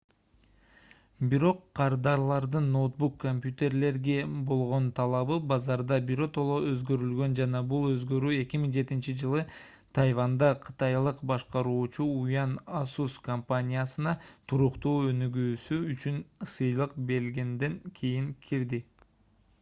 бирок кардарлардын ноутбук компьютерлерге болгон талабы базарда биротоло өзгөрүлгөн жана бул өзгөрүү 2007-жылы тайванда кытайлык башкаруучу юань asus компаниясына туруктуу өнүгүүсү үчүн сыйлык бергенден кийин кирди